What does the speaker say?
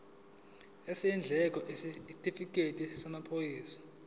izindleko isitifikedi samaphoyisa